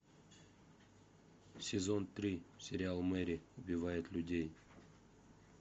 сезон три сериал мэри убивает людей